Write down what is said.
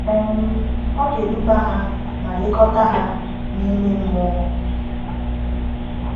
um Ọ ga-eduba ha ma lekọta ha n’ime mmụọ.